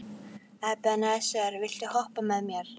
Ebeneser, viltu hoppa með mér?